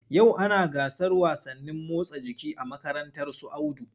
Yau ana gasar wasannin motsa jiki a makarantar su Audu.